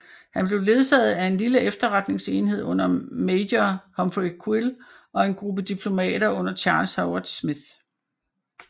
Han blev ledsaget af en lille efterretningsenhed under major Humphrey Quill og en gruppe diplomater under Charles Howard Smith